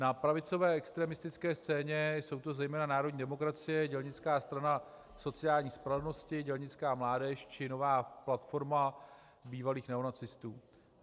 Na pravicové extremistické scéně jsou to zejména Národní demokracie, Dělnická strana sociální spravedlnosti, Dělnická mládež či Nová platforma bývalých neonacistů.